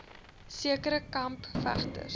sekere kamp vegters